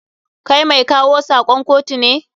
Kai mai kawo sakon kotu ne?